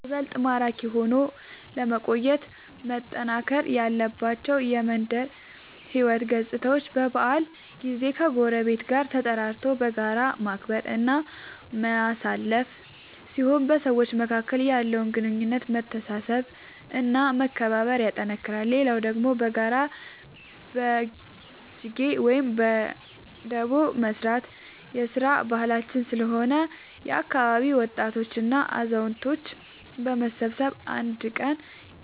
ይበልጥ ማራኪ ሆኖ ለመቆየት መጠናከር ያለባቸው የመንደር ሕይወት ገፅታዎች በበዓል ጊዜ ከጎረቤት ጋር ተጠራርቶ በጋራ ማክበር እና ማሳለፍ ሲሆን በሰዎች መካከል ያለውን ግንኙነት መተሳሰብ እና መከባበር ያጠነክራል። ሌላው ደግሞ በጋራ በጅጌ ወይም በዳቦ መስራት የስራ ባህላችን ስለሆነ የአካባቢ ወጣቶች እና አዛውቶች በመሰብሰብ አንድ ቀን